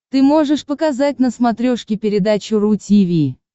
ты можешь показать на смотрешке передачу ру ти ви